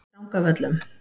Drangavöllum